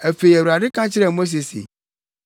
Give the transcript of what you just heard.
Afei, Awurade ka kyerɛɛ Mose se,